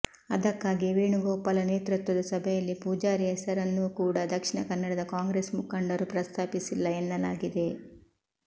ಅದಕ್ಕಾಗಿಯೇ ವೇಣುಗೋಪಾಲ ನೇತೃತ್ವದ ಸಭೆಯಲ್ಲಿ ಪೂಜಾರಿ ಹೆಸರನ್ನೂ ಕೂಡ ದಕ್ಷಿಣ ಕನ್ನಡದ ಕಾಂಗ್ರೆಸ್ ಮುಖಂಡರು ಪ್ರಸ್ತಾಪಿಸಿಲ್ಲ ಎನ್ನಲಾಗಿದೆ